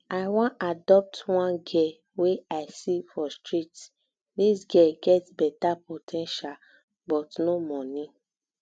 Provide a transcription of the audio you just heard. i wan adopt one girl wey i see for street dis girl get beta po ten tial but no money